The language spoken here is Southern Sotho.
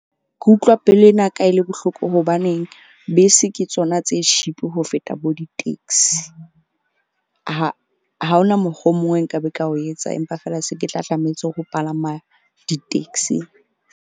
Ke utlwa pelo ena ya ka e le bohloko hobaneng bese ke tsona tse cheap ho feta bo di-taxi. Ha hona mokgwa o mong o nkabe ka o etsa, empa fela se ke tla tlametse ho palama di-taxi.